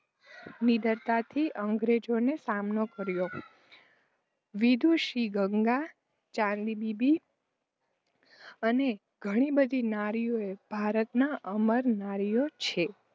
નીડરતાથી અંગ્રેજોનો સામનો કર્યો. વિદુષી ગાર્ગી, ચાંદબીબી અને ઘણી બધી નારીઓએ ભારતનાં અમર નારીઓ છે.